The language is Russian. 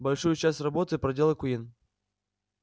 большую часть работы проделал куинн